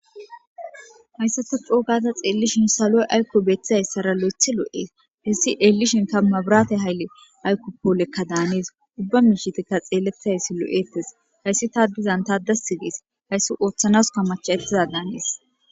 Hayssata coo gada xeellishin saloy ayko beeththizayssara loythi lo7ee. Hessi eellishinkka mabirate hayle aykko poolekka daanees. Ubba miishitikka xeellettizayssi lo7eettes. Hayssi taadizan taa dassi gees. Hayssi ooththanasika macha7ettiza daanees.